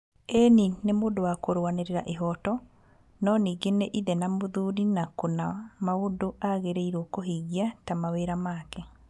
ĩĩni nĩ mũndũ wa kũrũanĩrĩa ĩhooto, no ningĩ nĩ ithe na mũthuri na kũna maũndũ agĩrĩirwo kuhĩngia ta mawĩra make.